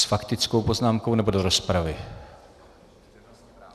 S faktickou poznámkou, nebo do rozpravy?